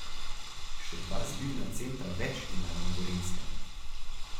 Še dva zbirna centra več imajo na Gorenjskem.